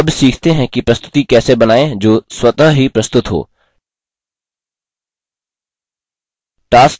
अब सीखते हैं कि प्रस्तुति कैसे बनाएँ जो स्वतः ही प्रस्तुत हो